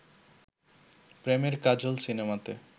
প্রেমের কাজল সিনেমাতে